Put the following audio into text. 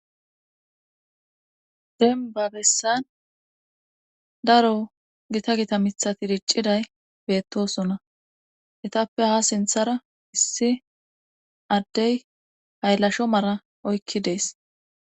demba bessan daro gita gita mithati dicciday beettosona etappe ha sinthara issi addey hayllasho mara oykki deesi.